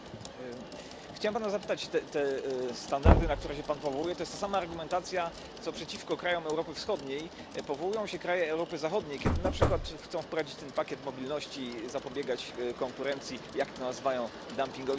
Chciałem Pana zapytać te standardy, na które się Pan powołuje, to ta sama argumentacja, na którą przeciwko krajom Europy Wschodniej powołują się kraje Europy Zachodniej, kiedy na przykład chcą wprowadzić ten pakiet mobilności, zapobiegać konkurencji, jak to nazywają dumpingowi socjalnemu.